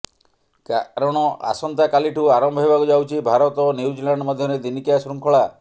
କାରଣ ଆସନ୍ତାକାଲିଠୁ ଆରମ୍ଭ ହେବାକୁ ଯାଉଛି ଭାରତ ଓ ନ୍ୟୁଜିଲାଣ୍ଡ ମଧ୍ୟରେ ଦିନିକିଆ ଶୃଙ୍ଖଳା